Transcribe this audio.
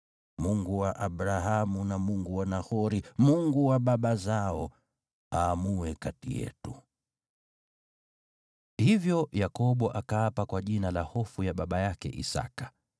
Mungu wa Abrahamu na Mungu wa Nahori, Mungu wa baba zao, aamue kati yetu.” Hivyo Yakobo akaapa kwa jina la Hofu ya baba yake Isaki.